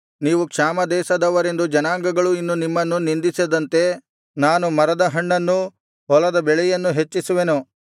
ನೀವು ಕ್ಷಾಮ ದೇಶದವರೆಂದು ಜನಾಂಗಗಳು ಇನ್ನು ನಿಮ್ಮನ್ನು ನಿಂದಿಸದಂತೆ ನಾನು ಮರದ ಹಣ್ಣನ್ನೂ ಹೊಲದ ಬೆಳೆಯನ್ನೂ ಹೆಚ್ಚಿಸುವೆನು